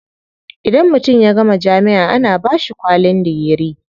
Idan mutum ya gama jami'a ana bashi kwalin digiri.